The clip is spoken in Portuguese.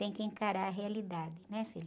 Tem que encarar a realidade, né, filho?